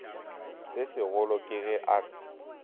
se segolo ke ge a